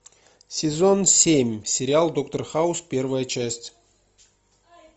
сезон семь сериал доктор хаус первая часть